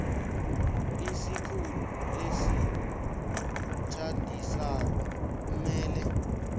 isikhulu esitjhadisako kumele